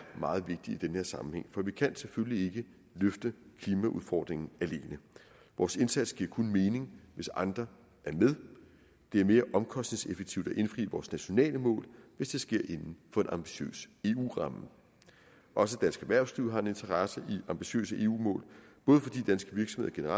meget vigtig i den her sammenhæng for vi kan selvfølgelig ikke løfte klimaudfordringen alene vores indsats giver kun mening hvis andre er med det er mere omkostningseffektivt at indfri vores nationale mål hvis det sker inden for en ambitiøs eu ramme også dansk erhvervsliv har en interesse i ambitiøse eu mål både fordi danske virksomheder